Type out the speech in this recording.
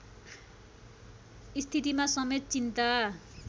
स्थितिमा समेत चिन्ता